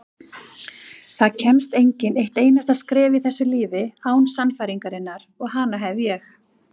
Það kemst enginn eitt einasta skref í þessu lífi án sannfæringarinnar og hana hef ég.